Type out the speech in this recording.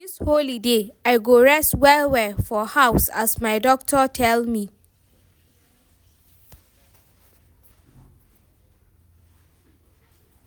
Dis holiday, I go rest well-well for house as my doctor tell me.